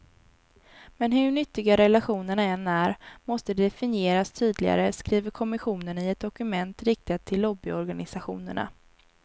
Men hur nyttiga relationerna än är, måste de definieras tydligare, skriver kommissionen i ett dokument riktat till lobbyorganisationerna.